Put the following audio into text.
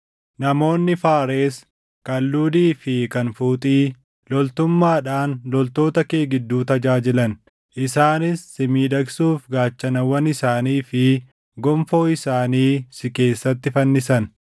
“ ‘Namoonni Faaresi, kan Luudii fi kan Fuuxii, loltummaadhaan loltoota kee gidduu tajaajilan. Isaanis si miidhagsuuf gaachanawwan isaanii fi gonfoo isaanii si keessatti fannisan.